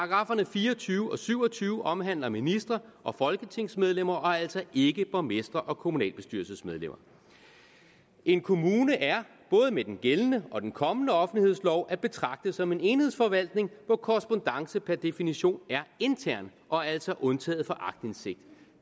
fire og tyve og syv og tyve omhandler ministre og folketingsmedlemmer og altså ikke borgmestre og kommunalbestyrelsesmedlemmer en kommune er både med den gældende og den kommende offentlighedslov at betragte som en enhedsforvaltning hvor korrespondance per definition er intern og altså undtaget fra aktindsigt